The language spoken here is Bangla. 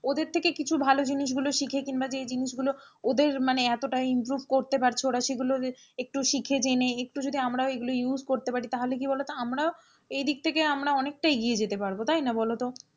ওদের থেকে কিছু ভালো জিনিস গুলো শিখে কিংবা যে জিনিসগুলো ওদের মানে এতটা improve করতে পারছে, ওরা সেগুলো একটু শিখে জেনে একটু যদি আমরাও এগুলো use করতে পারি তাহলে কি বোলো তো আমরাও এইদিক থেকে আমরাও অনেকটা এগিয়ে যেতে পারবো তাই না বলো?